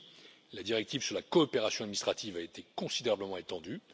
Ainsi, la directive sur la coopération administrative a été considérablement étendue.